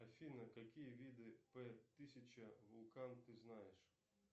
афина какие виды п тысяча вулкан ты знаешь